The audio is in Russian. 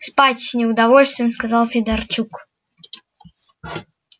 спать с неудовольствием сказал федорчук